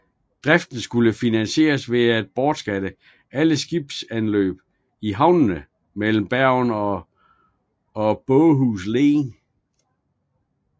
Driften skulle finansieres ved at beskatte alle skibsanløb i havnene mellem Bergen og Båhus Len